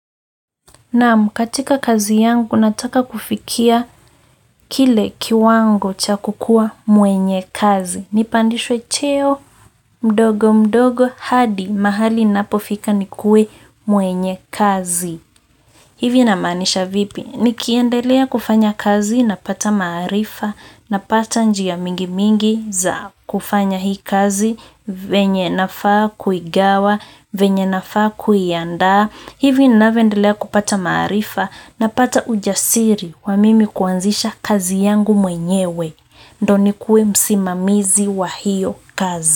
Naam katika kazi yangu, nataka kufikia kile kiwango cha kukua mwenye kazi. Nipandishwe cheo, mdogo mdogo, hadi mahali ninapofika nikuwe mwenye kazi. Hivi namaanisha vipi, nikiendelea kufanya kazi, napata maarifa, napata njia mingi mingi za kufanya hii kazi, venye nafaa kuigawa, venye nafaa kuiandaa. Hivi ninavyoendelea kupata maarifa napata ujasiri wa mimi kuanzisha kazi yangu mwenyewe ndio nikuwe msimamizi wa hiyo kazi.